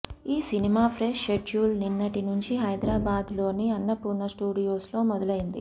ఈ సినిమా fresh schedule నిన్నటి నుంచి హైదరాబాద్ లోని అన్నపూర్ణ స్టూడియోస్ లో మొదలైంది